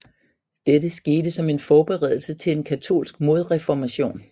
Dette skete som en forberedelse til en katolsk modreformation